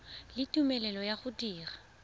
le tumelelo ya go dira